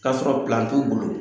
K'a sɔrɔ t'u bolo.